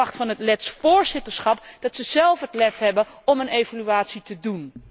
Ik verwacht van het Lets voorzitterschap dat ze zelf het lef hebben om een evaluatie te doen.